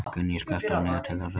Gunný, slökktu á niðurteljaranum.